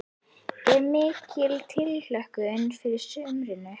Er mikil tilhlökkun fyrir sumrinu?